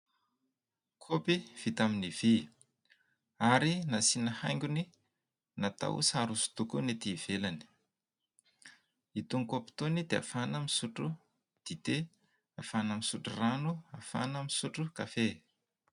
Kaopy vita amin'ny vy, ary nasiana haingony natao sary hosidoko ny ety ivelany, itony kaopy itony dia ahafahana misotro dite, ahafahana misotro rano, ahafahana misotro kafe.